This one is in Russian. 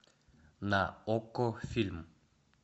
на окко фильм